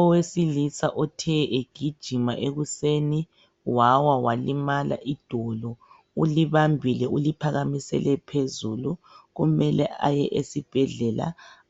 Owesilisa othe egijima ekuseni wawa walimala idolo ulibambile uliphakamisele phezulu kumele aye esibhedlela